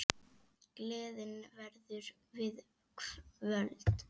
Gleðin verður við völd.